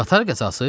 Qatar qəzası?